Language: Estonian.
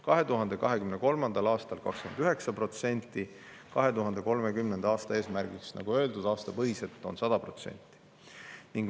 2023. aastal tootsid need 9%, 2030. aasta eesmärgiks, nagu öeldud, on 100%.